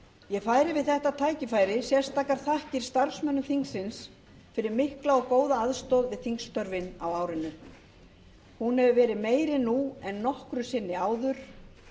ég færi við þetta tækifæri sérstakar þakkir starfsmönnum þingsins fyrir mikla og góða aðstoð við þingstörfin á árinu hún hefur verið meiri nú en nokkru sinni áður